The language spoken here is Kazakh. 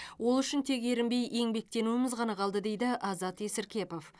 ол үшін тек ерінбей еңбектенуіміз ғана қалды дейді азат есіркепов